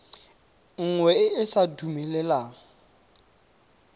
nngwe e e sa dumeleleng